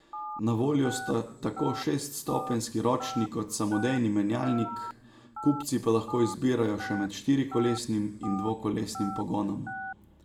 Na voljo sta tako šeststopenjski ročni kot samodejni menjalnik, kupci pa lahko izbirajo še med štirikolesnim in dvokolesnim pogonom.